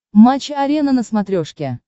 матч арена на смотрешке